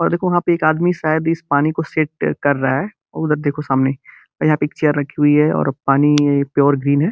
और एको वहाँ पे एक आदमी शायद इस पानी को सेट कर रहा है उ उधर देखो सामने आ यहाँ पे एक चेयर रखी हुई है और पानी प्योर ग्रीन हैं।